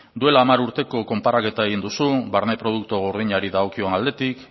duela hamar urteko konparaketa egin duzu barne produktu gordinari dagokion aldetik